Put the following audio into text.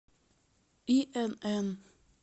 инн